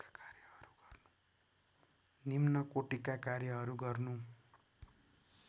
निम्नकोटीका कार्यहरू गर्नु